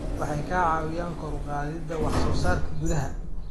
Waxay ka caawiyaan kor u qaadida wax soo saarka gudaha.